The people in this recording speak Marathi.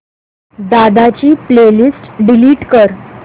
दादा ची प्ले लिस्ट डिलीट कर